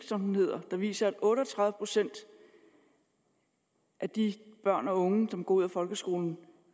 som den hedder der viser at otte og tredive procent af de børn og unge der går ud af folkeskolen